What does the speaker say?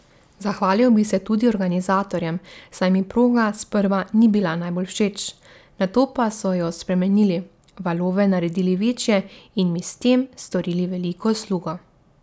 Zahvalil bi se tudi organizatorjem, saj mi proga sprva ni bila najbolj všeč, nato pa so jo spremenili, valove naredili večje in mi s tem storili veliko uslugo.